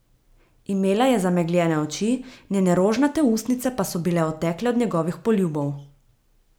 Imela je zamegljene oči, njene rožnate ustnice pa so bile otekle od njegovih poljubov.